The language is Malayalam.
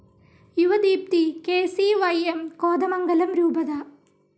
യുവദീപ്തി കെ.സി.വൈ.എം. കോതമംഗലം രൂപത